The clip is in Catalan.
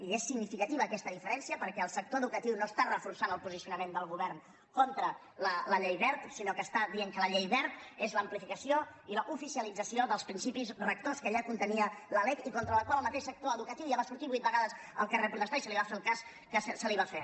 i és significativa aquesta diferència perquè el sector educatiu no està reforçant el posicionament del govern contra la llei wert sinó que està dient que la llei wert és l’amplificació i l’oficialització dels principis rectors que ja contenia la lec i contra la qual el mateix sector educatiu ja va sortir vuit vegades al carrer a protestar i se li va fer el cas que se li va fer